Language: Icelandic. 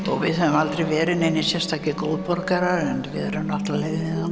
og við höfum aldrei verið neinir sérstakir góðborgarar en við erum náttúrulega